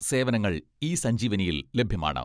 സേവനങ്ങൾ ഇ സഞ്ജീവനിയിൽ ലഭ്യമാണ്.